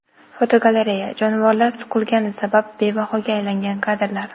Fotogalereya: Jonivorlar suqilgani sabab bebahoga aylangan kadrlar.